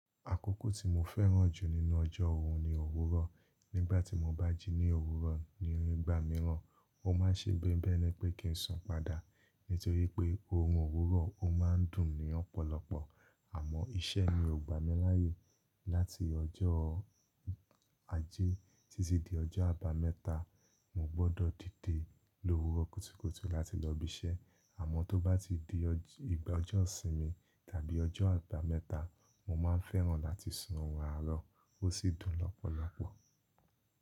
Àkókò tí mo fẹ́ràn jù nínú ọjọ́ òún ni òwúrọ̀. Nígbà tí mo bá jí ní òwúrọ̀ níí igba mìíràn, ó ma ń ṣe bi bi ẹ̀ni pé kí n sùn padà. Nítorí pé oorun òwúrọ̀ ó ma ń dùn ní ọ̀pọ̀lọpọ̀. Àmọ́ iṣẹ́ ni ò gbà mí láyè. Láti ọjọ́ ajé títí di ọjọ́ àbámẹ́ta, mo gbọ́dọ̀ dìde lówúrọ̀ kutúkutú láti lọ ibi iṣẹ́. Àmọ́ tó bá ti di igba ọjọ́ ìsinmi tàbí ọjọ́ àbámẹ́ta, mo ma ń fẹ́ràn láti sùn oorun àárọ̀ ó sì dùn lọ́pọ̀lọpọ̀.